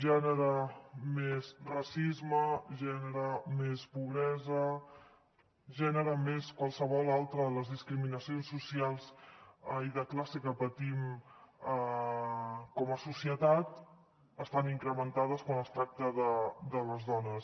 gènere més racisme gènere més pobresa gènere més qualsevol altra de les discriminacions socials i de classe que patim com a societat estan incrementades quan es tracta de les dones